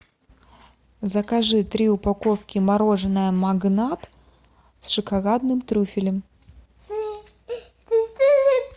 закажи три упаковки мороженое магнат с шоколадным трюфелем